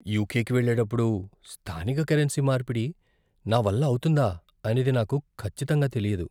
యుకేకి వెళ్ళేటప్పుడు స్థానిక కరెన్సీ మార్పిడి నా వల్ల అవుతుందా అనేది నాకు ఖచ్చితంగా తెలియదు.